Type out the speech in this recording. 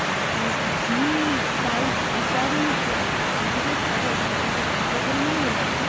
अगदी काय विचारू नकोस. अगदी काही फार एकमेकांच्या घरी वगैरे नाही गेलो अजून.